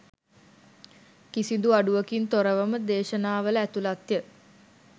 කිසිඳු අඩුවකින් තොරවම දේශනාවල ඇතුළත්ය.